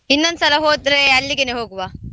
ಇನ್ನೊಂದ್ಸಲ ಹೋದ್ರೆ ಅಲ್ಲಿಗೆನೆ ಹೋಗುವ.